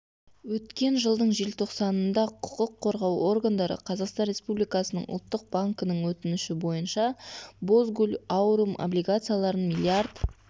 өткен жылдың желтоқсанында құқық қорғау органдары қазақстан республикасының ұлттық банкінің өтініші бойынша бозгуль аурум облигацияларын миллиард